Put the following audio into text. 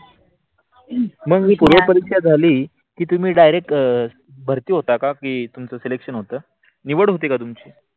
मग ही पूर्व परीक्षा झाली तिथे मग direct भारती होता कि तुमच selection होत निवड होते का तुमची?